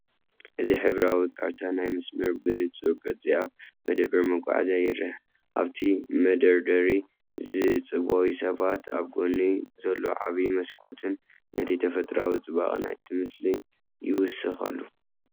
እዚ ሕብራዊ ካርታ ናይቲ መስመር ብንጹር ቅርጺ ኣብ መደበር መጓዓዝያ ይርአ። ኣብቲ መደርደሪ ዝጽበዩ ሰባትን ኣብ ጎድኑ ዘሎ ዓቢ መስኮትን ነቲ ተፈጥሮኣዊ ጽባቐ ናይቲ ምስሊ ይውስኸሉ።